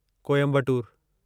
Coimbatore